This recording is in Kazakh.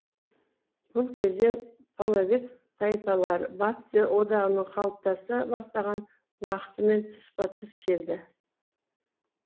бұл кезең половец тайпалары батыс одағының қалыптаса бастаған уақытымен тұспа тұс келді